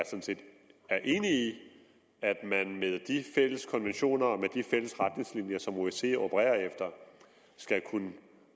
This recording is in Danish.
enig i at man med de fælles konventioner og med de fælles retningslinjer som osce opererer efter skal kunne